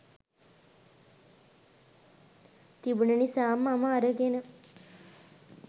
තිබුන නිසා මම අරගෙන